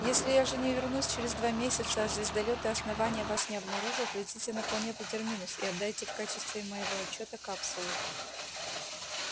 если я же не вернусь через два месяца а звездолёты основания вас не обнаружат летите на планету терминус и отдайте в качестве моего отчёта капсулу